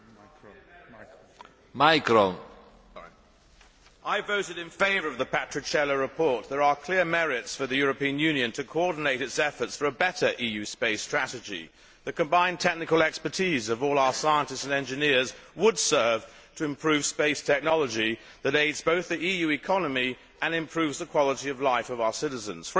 Mr President, I voted in favour of the Patriciello report there are clear merits for the European Union to coordinate its efforts for a better EU space strategy. The combined technical expertise of all our scientists and engineers would serve to improve space technology that aids both the EU economy and improves the quality of life of our citizens.